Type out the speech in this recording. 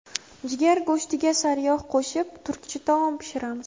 Jigar go‘shtiga sariyog‘ qo‘shib turkcha taom pishiramiz.